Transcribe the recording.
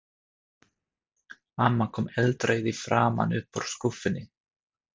Amma kom eldrauð í framan upp úr skúffunni.